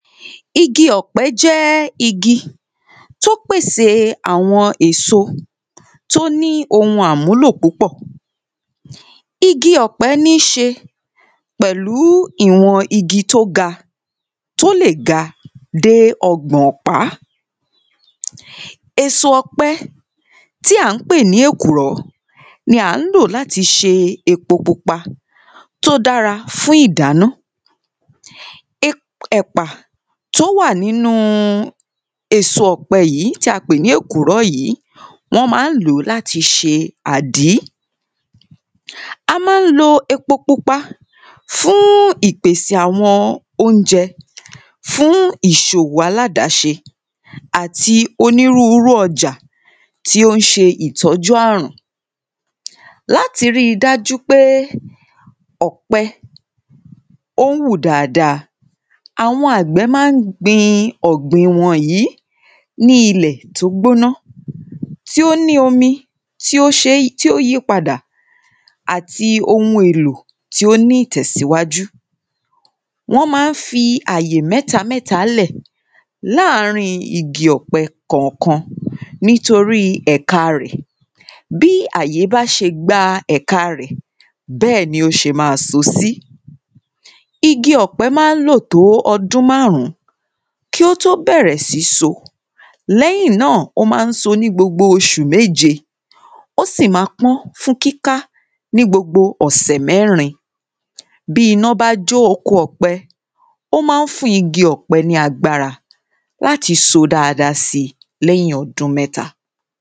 igi ọ̀pẹ jẹ́ igi tó pésè àwọn èso tó ní ohun àmúlò púpọ̀ igi ọ̀pẹ níí ṣe pẹ̀lú ìwọn igi tó ga, tó lè ga dé ọgbọ̀n ọ̀pá èsò ọ̀pẹ tí à ń pè ní èkùrọ́, ni à ń lò láti ṣe epo pupa tó dára fún ìdáná ep ẹ̀pà tó wà nínú èso ọ̀pẹ tí a pè ní èkùrọ́ yìí, wọ́n ma ń lòó láti ṣe àdín a má ń lo epopupa fún ìpèsè àwọn oúnjẹ, fún ìṣòwò aládáṣe àti onírúurú ọjà tí ó ń ṣe ìtọ́jú àrùn. láti ríi dájú pé ọ̀pẹ ó wù dáadáa, àwọn àgbẹ̀ máa ń gbin ọ̀gbìn wọn yìí ní ilẹ̀ tó gbóná tí ó ní omi tí ó ṣe tí ó yí padà àti ohun èlò tí ó ní ìtẹ̀síwájú wọ́n máa ń fi àyè mẹ́ta mẹ́ta lẹ̀ láàrín igi ọ̀pẹ kànkan nítorí ẹ̀ka rẹ̀ bí àyè bá ṣe gba ẹ̀ka rẹ̀ bẹ́ẹ̀ni ó ṣe máa so sí igi ọ̀pẹ̀ máa ń lò tó ọdún márùn-ún kí ó tó bẹ̀rẹ̀ sí so, lẹ́yìn náà ó má ń so ní gbogbo oṣù méje ó sì ma pọ́n fún kíká ní gbogbo ọ̀sẹ̀ mẹ́rin bíi iná bá jó oko ọ̀pẹ, ó máa ń fún igi ọ̀pẹ ní agbára láti so dáadáa si lẹ́hìn ọdún mẹ́ta